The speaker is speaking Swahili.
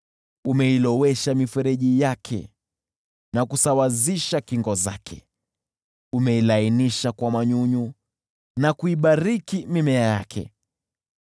Umeilowesha mifereji yake na kusawazisha kingo zake; umeilainisha kwa manyunyu na kuibariki mimea yake.